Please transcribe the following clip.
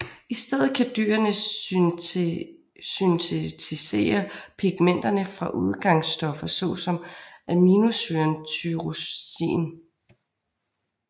I stedet kan dyrene syntetisere pigmenterne fra udgangsstoffer såsom aminosyren tyrosin